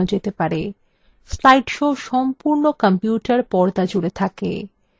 slide shows সম্পূর্ণ computer পর্দা জুড়ে থাকে